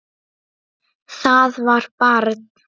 Það var barn.